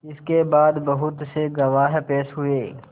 इसके बाद बहुत से गवाह पेश हुए